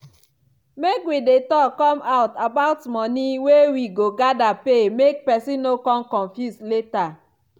make wi dey talk come out about money wey wi go gather pay make pesin no con confuse later.